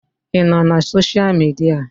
Ị nọ na sosha midia?